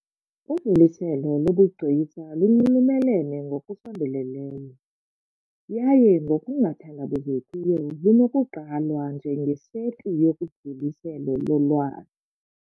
Udluliselo lobugcisa lunxulumene ngokusondeleleyo, yaye ngokungathandabuzekiyo lunokugqalwa njengeseti, yodluliselo yolwazi .